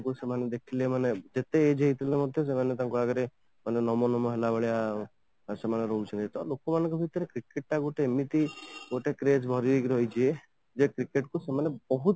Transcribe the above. ତ ସେମାନେ ଦେଖିଲେ ମାନେ ଯେତେ age ହେଇଥିଲେ ମଧ୍ୟ ସେମାନେ ତାଙ୍କ ଆଗରେ ମାନେ ନମଃ ନମଃ ହେଲା ଭଳି ହଉଥିବେ ଲୋକ ମାନଙ୍କ ଭିତରେ କିଛି ଟା ଗୋଟେ ଏମିତି craze ଭର୍ତି ହେଇକି ରହିଛି ଯେ cricket କୁ ସେମାନେ ବହୁତ